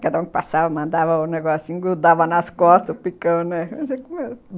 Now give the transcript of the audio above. Cada um que passava mandava o negócio, engrudava nas costas, picando, né?